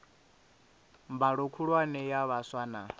mbalo khulwane ya vhaswa na